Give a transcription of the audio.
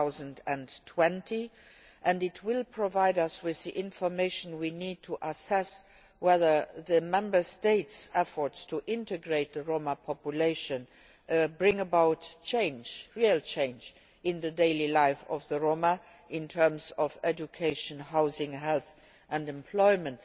2020. It will provide us with the information we need to assess whether the Member States' efforts to integrate the Roma population bring about real change in the daily life of the Roma in terms of education, housing, health and employment.